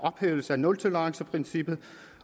ophævelse af nultoleranceprincippet